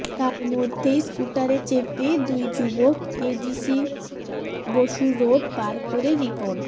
তার মধ্যেই স্কুটারে চেপে দুই যুবক A J C Basu road পার করে রিপন